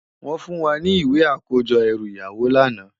Wòn fún wá ni iwé àkójò èrú iyáwó làná